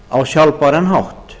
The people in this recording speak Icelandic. á sjálfbæran hátt